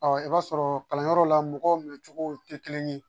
i b'a sɔrɔ kalanyɔrɔ la mɔgɔw minɛcogo tɛ kelen ye